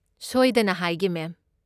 ꯁꯣꯏꯗꯅ ꯍꯥꯏꯒꯦ, ꯃꯦꯝ꯫